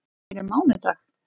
Fyrir mánudag?